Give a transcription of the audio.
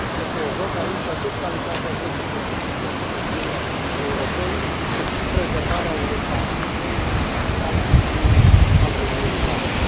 Este în joc aici atât calitatea vieții de zi cu zi a cetățenilor europeni, cât și prezervarea unui patrimoniu natural unic al Uniunii noastre.